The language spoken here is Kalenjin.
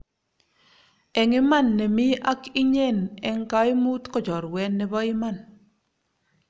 eng iman ne mi ak inyen eng kaimut ko chorwet nebo iman